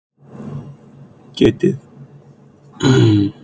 Fréttamaður: Getið þið eitthvað sagt?